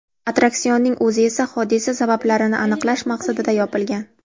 Attraksionning o‘zi esa hodisa sabablarini aniqlash maqsadida yopilgan.